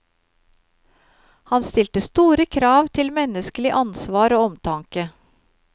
Han stilte store krav til menneskelig ansvar og omtanke.